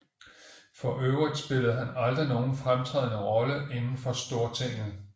For øvrigt spillede han aldrig nogen fremtrædende Rolle inden for Stortinget